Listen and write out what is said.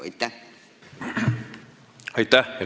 Aitäh!